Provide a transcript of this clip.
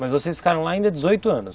Mas vocês ficaram lá ainda dezoito anos?